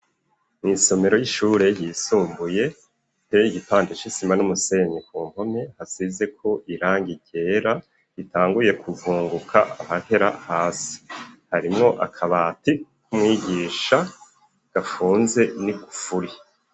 Mw'isomero ry'ishure ryisumbuye riteye igipande c'isima n'umusenyi ku mpome hasizeko irangi ryera ritanguye kuvunguka hahera hasi harimo akabati k'umwigisha gapfunze nigufuri.